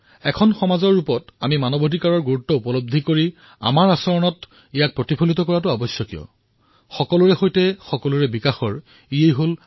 এখ সমাজৰ ৰূপত আমি মানৱ অধিকাৰ গুৰুত্বক বুজি পোৱাটো আৰু আচৰণৰ অংশ কৰাটো প্ৰয়োজনীয় এয়াই সকলোৰে সৈতেসকলোৰে বিকাশৰ আধাৰ